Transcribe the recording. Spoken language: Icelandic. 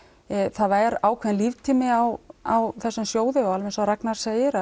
það er ákveðinn líftími á á þessum sjóði og alveg eins Ragnar segir